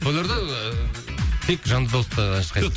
тойларда ыыы тек жанды дауыста ән шырқай